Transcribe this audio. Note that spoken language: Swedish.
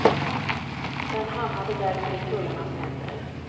Den hamnade därför i tullarnas händer.